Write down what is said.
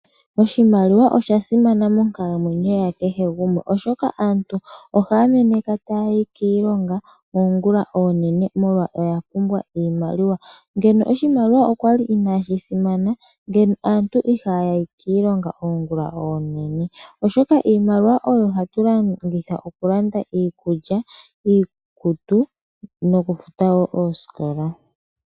Oshimaliwa osha simana monkalamwenyo ya kehe gumwe , oshoka aantu ohaya meneka taya yi kiilonga ongulonene molwa ya pumbwa iimaliwa. Ngeno oshimaliwa okwali inaashi simana ngeno aantu ihaya yi kiilonga ongulonene , oshoka iimaliwa oyo hatu longitha okulanda iikulya, iikutu nokufuta woo ooskola.